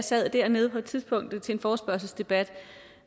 sad dernede på et tidspunkt til en forespørgselsdebat